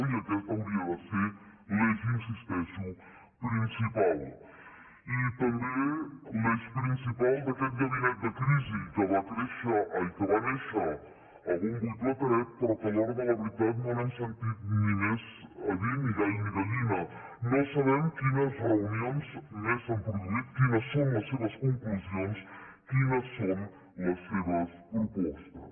i aquest hauria de ser l’eix hi insisteixo principal i també l’eix principal d’aquest gabinet de crisi que va néixer a bombo i plateret però que a l’hora de la veritat no n’hem sentit més a dir ni gall ni gallina no sabem quines reunions més s’han produït quines són les seves conclusions quines són les seves propostes